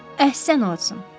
Əhsən, Uotson.